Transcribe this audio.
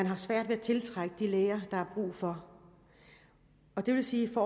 har svært ved at tiltrække de læger der er brug for det vil sige at